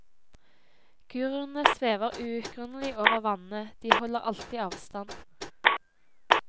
Guruene svever uutgrunnelig over vannene, de holder alltid avstand.